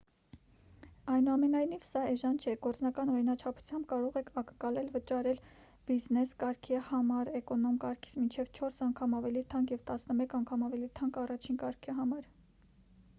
այնուամենայնիվ սա էժան չէ գործնական օրինաչափությամբ կարող եք ակնկալել վճարել բիզնես կարգի համար էկոնոմ կարգից մինչև չորս անգամ ավելի թանկ և տասնմեկ անգամ ավելի թանկ առաջին կարգի համար